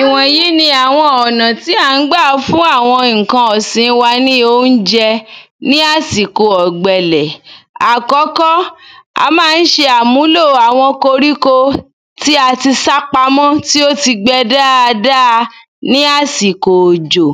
Ìwò̩n yí ní àwo̩n ò̩nà tí à n gbà fún àwo̩n ǹkan ìsin wa ní oúnje̩ ní ásìko ò̩gbe̩lè̩. Àkó̩kó̩, a má n s̩e àmúlò àwo̩n koríko tí a ti sá pamó̩, tí ó ti gbe̩ dáadáa ní àsiko òjò.